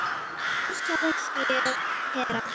Þór, Sara, Hera.